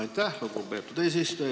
Aitäh, lugupeetud eesistuja!